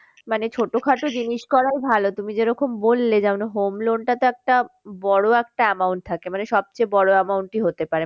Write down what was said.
মানে ছোটোখাটো জিনিস করাই ভালো তুমি যেরকম বললে যে home loan টা তো একটা বড়ো একটা amount থাকে মানে সব চেয়ে বড়ো amount হতে পারে।